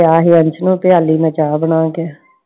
ਸੀ ਅੱਜ ਅੰਸ਼ ਨੂੰ ਪਿਆਲੀ ਮੈਂ ਚਾਹ ਬਣਾ ਕੇl